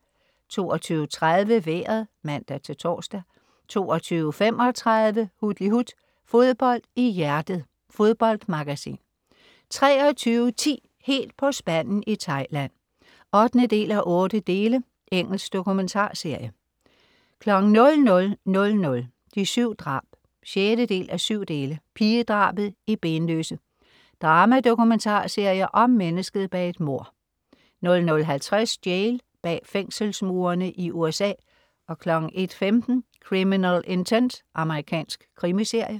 22.30 Vejret (man-tors) 22.35 Hutlihut. Fodbold i hjertet. Fodboldmagasin 23.10 Helt på spanden i Thailand 8:8. Engelsk dokumentarserie 00.00 De 7 drab 6:7. Pigedrabet i Benløse. Drama-dokumentarserie om mennesket bag et mord 00.50 Jail. Bag fængselsmurene i USA 01.15 Criminal Intent. Amerikansk krimiserie